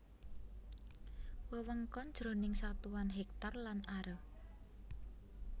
Wewengkon jroning satuan hèktar lan are